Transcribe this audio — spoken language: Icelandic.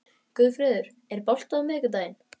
Guðfreður, er bolti á miðvikudaginn?